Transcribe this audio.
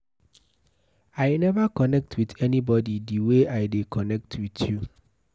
I never connect with anybody the way I dey connect with you